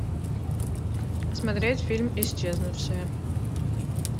смотреть фильм исчезнувшие